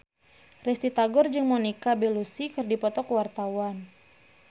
Risty Tagor jeung Monica Belluci keur dipoto ku wartawan